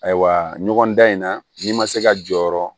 Ayiwa ɲɔgɔn dan in na n'i ma se ka jɔyɔrɔ